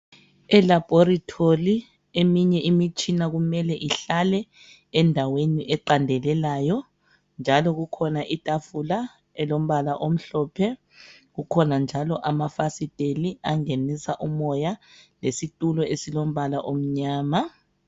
Elaboritholi eminye imitshina kumele ihlale endaweni eqandelelayo njalo kukhona itafula elombala omhlophe. Kukhona njalo amafasiteli angenisa umoya lesitulo esilombala omnyama.